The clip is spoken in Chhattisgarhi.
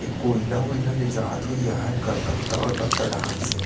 ये कोयला वोइला ले जात होही यार कलकत्ता वलकत्ता डहन से--